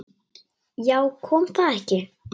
Já, kom það ekki!